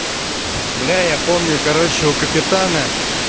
бля помню короче у капитана